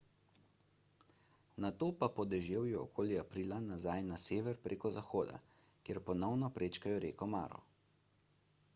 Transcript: nato pa po deževju okoli aprila nazaj na sever prek zahoda kjer ponovno prečkajo reko maro